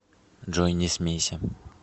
джой не смейся